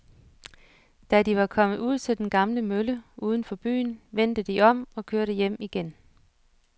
Da de var kommet ud til den gamle mølle uden for byen, vendte de om og kørte hjem igen.